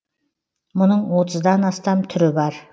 мұның отыздан астам түрі бар